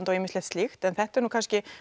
og ýmislegt slíkt en þetta er nú kannski